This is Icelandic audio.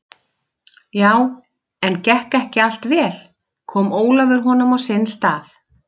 Já, en gekk ekki allt vel, kom Ólafur honum á sinn stað?